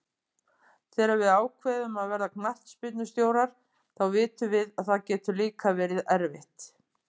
Þegar við ákveðum að verða knattspyrnustjórar þá vitum við að það getur líka verið erfitt.